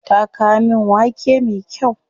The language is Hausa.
Ta kawo min wake me kyau.